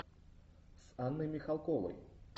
с анной михалковой